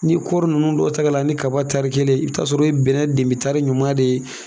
Ni kɔri ninnu dɔ ta ga la ni kaba tari kelen, i bi ta sɔrɔ o ye bɛnɛn tari ɲuman de ye.